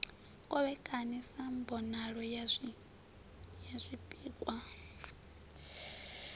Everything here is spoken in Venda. kovhekane sa mbonalo ya zwipikwa